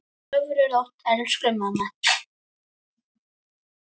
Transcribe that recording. Sofðu rótt, elsku mamma.